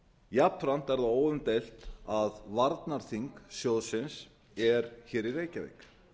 jafnframt er það óumdeilt að varnarþing sjóðsins er í reykjavík